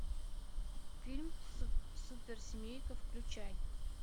фильм суперсемейка включай